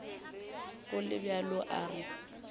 go le bjalo a re